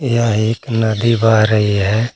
यह एक नदी बह रही है।